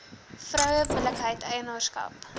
vroue billikheid eienaarskap